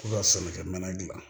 K'u ka sɛnɛkɛ mana gilan